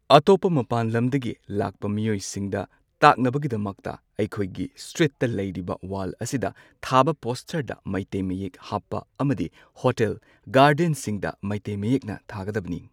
ꯑꯇꯣꯞꯄ ꯃꯄꯥꯟ ꯂꯝꯗꯒꯤ ꯂꯥꯛꯄ ꯃꯤꯌꯣꯏꯁꯤꯡꯗ ꯇꯥꯛꯅꯕꯒꯤꯗꯃꯛꯇ ꯑꯩꯈꯣꯏꯒꯤ ꯁ꯭ꯇ꯭ꯔꯤꯠꯇ ꯂꯩꯔꯤꯕ ꯋꯥꯜ ꯑꯁꯤꯗ ꯊꯥꯕ ꯄꯣꯁꯇꯔꯗ ꯃꯩꯇꯩ ꯃꯌꯦꯛ ꯍꯥꯞꯄ ꯑꯃꯗꯤ ꯍꯣꯇꯦꯜ ꯒꯥꯔꯗꯦꯟꯁꯤꯡꯗ ꯃꯩꯇꯩ ꯃꯌꯦꯛꯅ ꯊꯥꯒꯗꯕꯅꯤ꯫